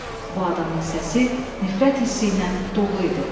Bu adamın səsi nifrət hissi ilə dolu idi.